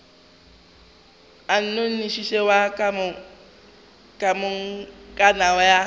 a nnošinoši wa komangkanna ya